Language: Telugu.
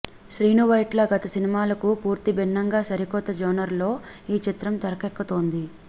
శ్రీనువైట్ల గత సినిమాలకు పూర్తి భిన్నంగా సరికొత్త జోనర్లో ఈ చిత్రం తెరకెక్కుతోంది